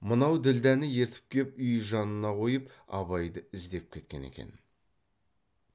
мынау ділдәні ертіп кеп үй жанына қойып абайды іздеп кеткен екен